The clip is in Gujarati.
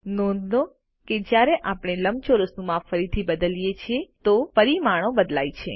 નોંધ લો કે જ્યારે આપણે લંબચોરસનું માપ ફરીથી બદલીએ છીએ તો પરિમાણો બદલાય છે